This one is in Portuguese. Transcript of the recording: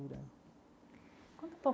Conta um pouco.